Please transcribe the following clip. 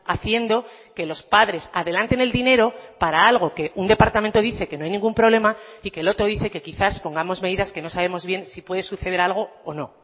haciendo que los padres adelanten el dinero para algo que un departamento dice que no hay ningún problema y que el otro dice que quizás pongamos medidas que no sabemos bien si puede suceder algo o no